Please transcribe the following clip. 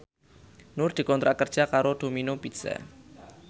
Nur dikontrak kerja karo Domino Pizza